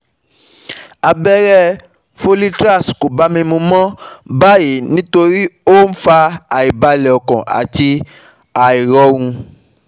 Abẹ́rẹ́ folitrax kò bá mi mu mọ́ báyìí nítorí ó ń fa àìbalẹ̀ ọkàn àti àìrọ̀rùn